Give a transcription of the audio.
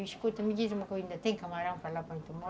Escuta, me diz uma coisa, ainda tem camarão para lá para lá onde tu mora?